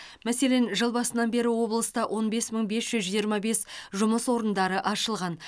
мәселен жыл басынан бері облыста он бес мың бес жүз жиырма бес жұмыс орны ашылған